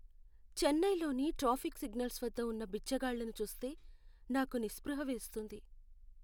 చెన్నైలోని traffic signals వద్ద ఉన్న బిచ్చగాళ్లను చూస్తే నాకు నిస్పృహ వేస్తుంది.